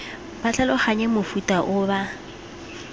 ba tlhaloganye mofuta o ba